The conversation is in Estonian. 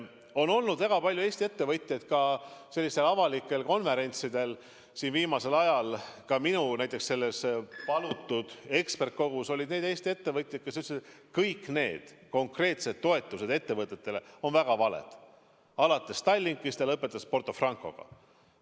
On olnud väga palju Eesti ettevõtjaid ka avalikel konverentsidel, viimasel ajal ka näiteks eksperdikogus, millel mina palusin koguneda, olid Eesti ettevõtjad, kes ütlesid, et kõik need konkreetsed toetused ettevõtetele on väga valed, alates Tallinkist ja lõpetades Porto Francoga.